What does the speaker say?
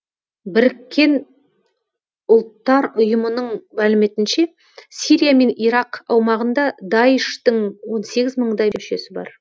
біріккен ұлттар ұйымының мәліметінше сирия мен ирак аумағында даиш тың он сегіз мыңдай мүшесі бар